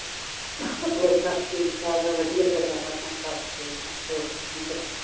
ਹੋਰ ਸਭ ਠੀਕ ਠਾਕ ਹੈ ਵਧੀਆ ਗੱਲਾਂ ਬਾਤਾਂ ਚੱਲਦੀਆਂ ਹੋਰ ਕੀ ਕਰੀ ਜਾਂਦੇ